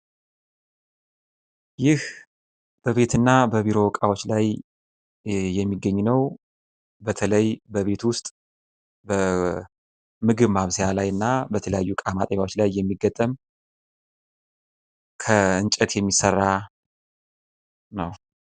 ይህ በቤትና በቢሮ እቃዎች ላይ የሚገኝ ነው። በተለይ ቤቶት ውስጥ በምግብ ማብሰያ የሚገጠም በተለያዩ እቃ ማጠቢያ የሚገጠም ፤ ከእንጨት የሚሰራ ነው ።